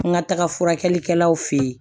N ka taga furakɛlikɛlaw fɛ yen